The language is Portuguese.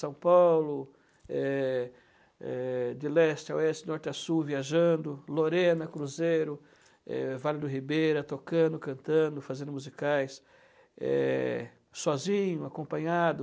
São Paulo, eh, eh, de leste a oeste, norte a sul, viajando, Lorena, Cruzeiro, eh, Vale do Ribeira, tocando, cantando, fazendo musicais, eh, sozinho, acompanhado.